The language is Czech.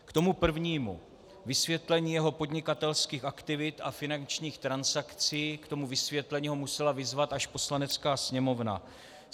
K tomu prvnímu, vysvětlení jeho podnikatelských aktivit a finančních transakcí, k tomu vysvětlení ho musela vyzvat až Poslanecká sněmovna.